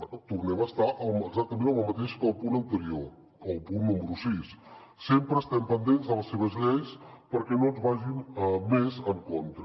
bé tornem a estar exactament amb el mateix que al punt anterior o que al punt número sis sempre estem pendents de les seves lleis perquè no ens vagin més en contra